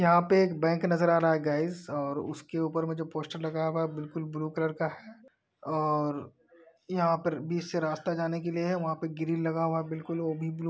यहां पे एक बैंक नजर आ रहा है गाइज और उसके ऊपर जो पोस्टर लगा हुआ है बिल्कुल ब्लू कलर का है और और यहां पर बीच से रास्ता जाने के लिए है वहां पर ग्रिल लगा हुआ है बिल्कुल वो भी ब्लू है।